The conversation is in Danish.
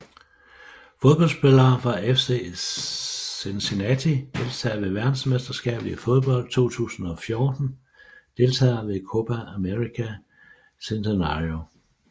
Fodboldspillere fra FC Cincinnati Deltagere ved verdensmesterskabet i fodbold 2014 Deltagere ved Copa América Centenario